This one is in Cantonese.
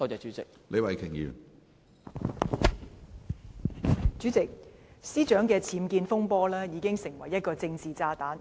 主席，律政司司長的僭建風波已成為一個政治炸彈。